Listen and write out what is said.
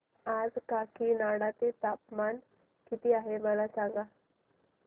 आज काकीनाडा चे तापमान किती आहे मला सांगा